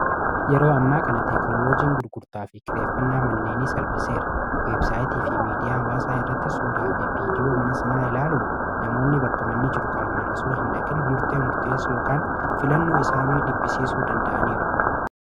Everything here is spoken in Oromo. yeroo ammaa kana teeknoloojiin gurgurtaa fi kireeffannaa manneeni salphiseera weebsaayitii fi miidiyaa hawaasaa irratti suuraa fi viidiyoo mana sanaa ilaaluun namoonni bakkamanni qaamaan osoo hinbdeeminakin murtee murteessu filannuo isaa nuyi dhiphisiisuu danda'aniiru